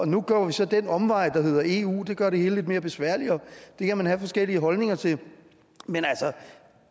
nu går vi så den omvej der hedder eu det gør det hele lidt mere besværligt og det kan man have forskellige holdninger til men